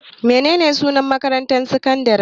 Menene sunan makarantar sakandare?